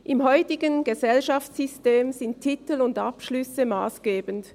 Im heutigen Gesellschaftssystem sind Titel und Abschlüsse massgebend.